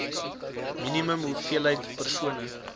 minimum hoeveelheid persone